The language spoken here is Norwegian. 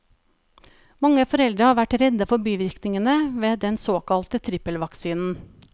Mange foreldre har vært redde for bivirkningene ved den såkalte trippelvaksinen.